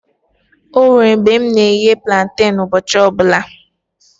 Onwere mgbe mụ na eghe planten ụbọchị ọbụla